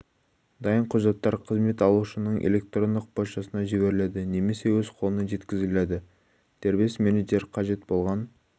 дайын құжаттар қызмет алушының электрондық поштасына жіберіледі немесе өз қолына жеткізіледі дербес менеджер қажет болған